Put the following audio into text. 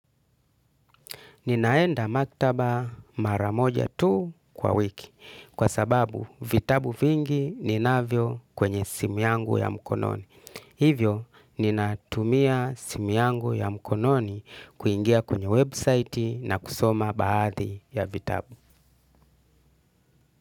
Ninaenda maktaba mara moja tuh kwa wiki kwa sababu vitabu vingi ninavyo kwenye simu yangu ya mkononi. Hivyo, ninatumia simu yangu ya mkononi kuingia kwenye website na kusoma baadhi ya vitabu.